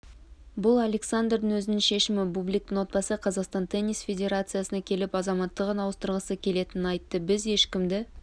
бұл александрдың өзінің шешімі бубликтің отбасы қазақстан теннис федерациясына келіп азаматтығын ауыстырғысы келетінін айтты біз ешкімді